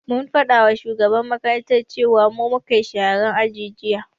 Mun faɗama shugaban makaranta cewan mu mukayi sharan aji jiya